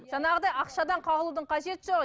жаңағыдай ақшадан қағылудың қажеті жоқ